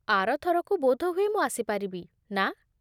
ଆର ଥରକୁ ବୋଧହୁଏ ମୁଁ ଆସିପାରିବି, ନା?